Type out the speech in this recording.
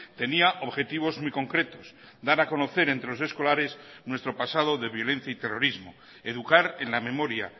tenía objetivos muy concretos dar a conocer entre los escolares nuestro pasado de violencia y terrorismo educar en la memoria